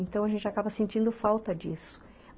Então a gente acaba sentindo falta disso.